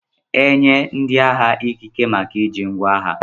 Enye ndi agha ikeke maka iji nkwa agha.